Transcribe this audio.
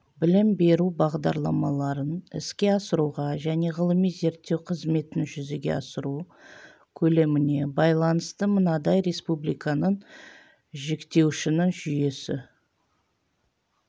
білім беру бағдарламаларын іске асыруға және ғылыми-зерттеу қызметін жүзеге асыру көлеміне байланысты мынадай республиканың жіктеуішінің жүйесі